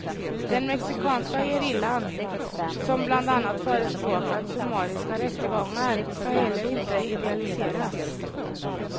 Den mexikanska gerillan, som bland annat förespråkat summariska rättegångar, ska heller inte idealiseras.